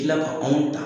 Kila ka anw ta